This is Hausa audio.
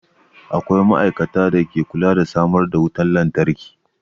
Akwai ma'aikatan da ke kula da samar da wutan lantarki.